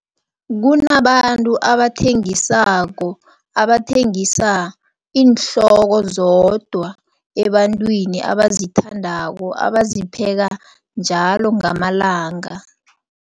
Kunabantu abathengisako, abathengisa iinhloko zodwa ebantwini abazithandako, abazipheka njalo ngamalanga.